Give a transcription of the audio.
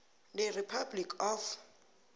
the republic of